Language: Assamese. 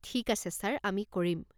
ঠিক আছে, ছাৰ, আমি কৰিম।